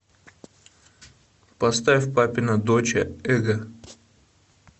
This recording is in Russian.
поставь папина доча эго